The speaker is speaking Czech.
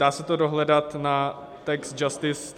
Dá se to dohledat na taxjustice.net.